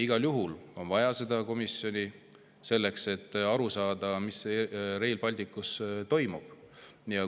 Igal juhul on vaja seda komisjoni, selleks et aru saada, mis Rail Balticuga toimub.